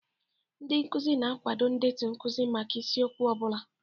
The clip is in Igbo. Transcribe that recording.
Ndị nkuzi na-akwado ndetu nkuzi maka isiokwu ọ bụla.